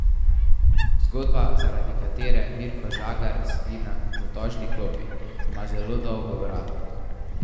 Zgodba, zaradi katere Mirko Žagar sedi na zatožni klopi, ima zelo dolgo brado.